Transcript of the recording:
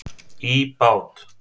í bát.